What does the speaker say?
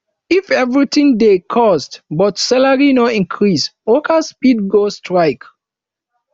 if everything dey cost but salary no increase workers fit go strike